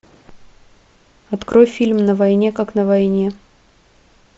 открой фильм на войне как на войне